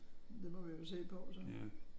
Det må vi jo se på så